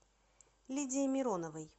лидии мироновой